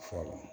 Fɔlɔ